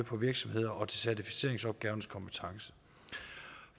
på virksomheder og til certificeringsorganernes kompetencer